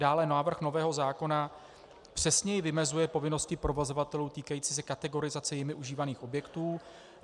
Dále návrh nového zákona přesněji vymezuje povinnosti provozovatelů týkající se kategorizace jimi užívaných objektů.